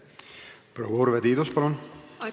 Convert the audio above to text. Proua Urve Tiidus, palun!